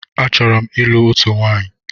Achọrọ m ịlụ òtù nwaanyi.